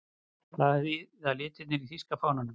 Hvað þýða litirnir í þýska fánanum?